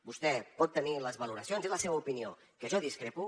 vostè pot tenir les valoracions és la seva opinió que jo en discrepo